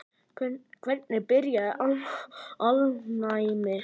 Hvernig byrjaði alnæmi?